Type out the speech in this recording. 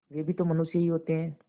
वे भी तो मनुष्य ही होते हैं